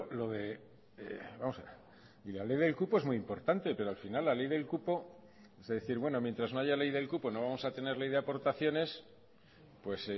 lo de vamos a ver y la ley del cupo es muy importante pero al final la ley del cupo es decir bueno mientras no haya ley del cupo no vamos a tener ley de aportaciones pues